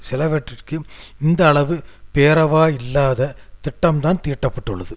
சிலவற்றிற்கு இந்த அளவு பேரவா இல்லாத திட்டம்தான் தீட்டப்பட்டுள்ளது